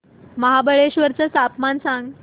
महाबळेश्वर चं तापमान सांग